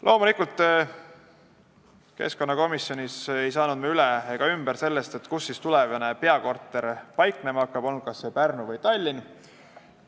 Loomulikult ei saanud me keskkonnakomisjonis üle ega ümber sellest, kus tulevane peakorter paiknema hakkab, kas Pärnus või Tallinnas.